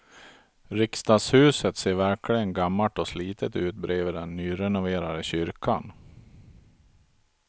Riksdagshuset ser verkligen gammalt och slitet ut bredvid den nyrenoverade kyrkan.